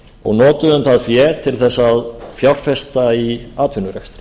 og notuðum það fé til að fjárfesta í atvinnurekstri